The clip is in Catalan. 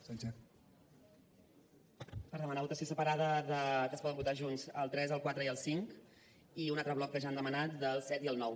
per demanar votació separada que es poden votar junts del tres el quatre i el cinc i un altre bloc que ja han demanat del set i el nou